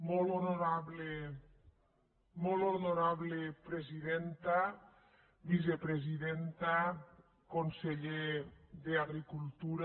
molt honorable presidenta vicepresidenta conse·ller d’agricultura